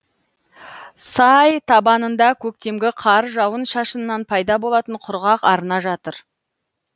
сай табанында көктемгі қар жауын шашыннан пайда болатын құрғақ арна жатыр